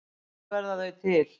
Hvar verða þau til?